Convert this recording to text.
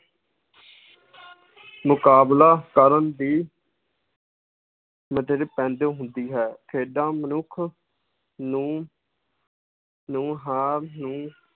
ਮੁਕਾਬਲਾ ਕਰਨ ਦੀ ਪੈਂਦੀ ਹੁੰਦੀ ਹੈ, ਖੇਡਾਂ ਮਨੁੱਖ ਨੂੰ ਨੂੰ